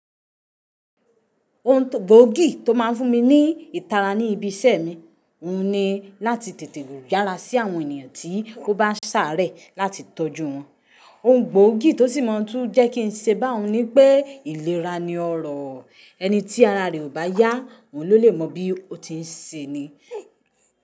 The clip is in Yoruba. Ohun gbóògì tó máa ń fún mi ní ìtara ní ibi iṣẹ́ mi, òun ni láti tètè yára sí àwọn ènìyàn tí o bá sàárẹ̀ láti tọ́jú wọn. Ohun gbògì tó sì máa tuń jẹ́ kí n ṣe bá òun ni pé ìlera ni ọrọ̀. Ẹni tí ara rẹ̀ ò bá yá, òun ló lè mọ bí ó ti ń ṣe ni.